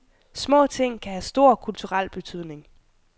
Små ting kan have stor kulturel betydning.